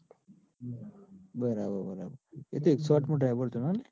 બરાબર બરાબર એતો એકસો આઠ નું driver તને આપ્યું.